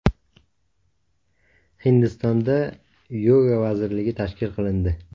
Hindistonda yoga vazirligi tashkil qilindi.